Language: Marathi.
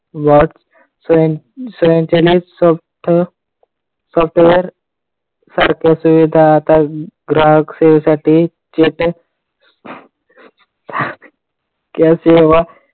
वाढ स्वयंचलित software सारख्या सुविधा आता ग्राहक सेवेसाठी या सेवा